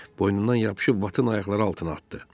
Boynundan yapışıb Vatın ayaqları altına atdı.